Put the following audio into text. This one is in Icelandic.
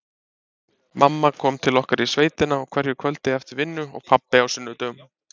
Mamma kom til okkar í sveitina á hverju kvöldi eftir vinnu og pabbi á sunnudögum.